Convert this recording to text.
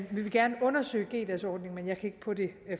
vi vil gerne undersøge g dagsordningen men jeg kan på det